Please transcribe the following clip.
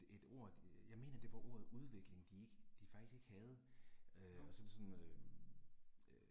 Et ord, jeg mener det var ordet udvikling de ikke, de faktisk ikke havde, øh så det sådan øh